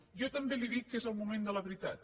jo també li dic que és el moment de la veritat